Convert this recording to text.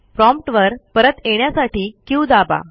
prompt वर परत येण्यासाठी क्यू दाबा